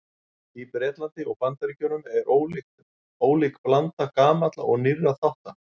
Í Bretlandi og Bandaríkjunum er ólík blanda gamalla og nýrra þátta.